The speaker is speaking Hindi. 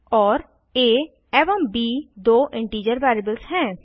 और आ एवं ब दो इंटीजर वेरिएबल्स हैं